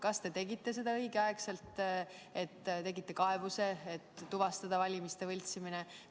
Kas te tegite seda õigel ajal, esitasite kaebuse, et tuvastada valimiste võltsimine?